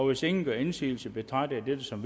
hvis ingen gør indsigelse betragter jeg dette som